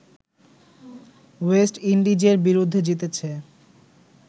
West ইন্ডিজের বিরুদ্ধে জিতেছে